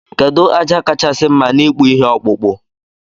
Kedu aja kachasi mma na ikpụ ihe ọkpụkpụ?